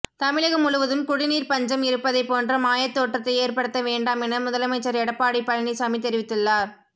தமிழகம் முழுவதும் குடிநீர் பஞ்சம் இருப்பதை போன்ற மாயத்தோற்றத்தை ஏற்படுத்த வேண்டாம் என முதலமைச்சர் எடப்பாடி பழனிசாமி தெரிவித்துள்ளார்